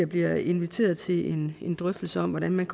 bliver inviteret til en en drøftelse om hvordan man